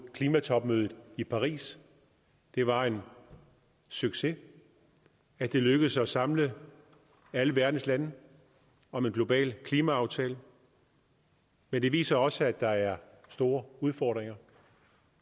klimatopmødet i paris det var en succes at det lykkedes at samle alle verdens lande om en global klimaaftale men det viser også at der er store udfordringer